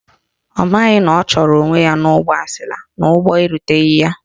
Ọ maghị na ọ chụrụ onwe ya n'ụgbọ asila n'ụgbọ eruteghi ya.